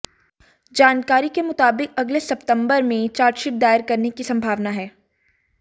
जानकारी के मुताबिक अगले सप्ताहभर में चार्जशीट दायर करने की संभावना है